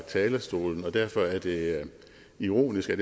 talerstolen og derfor er det ironisk at